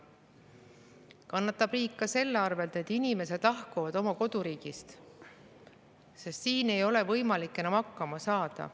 Riik kannatab ka selle tõttu, et inimesed lahkuvad oma koduriigist, sest siin ei ole võimalik enam hakkama saada.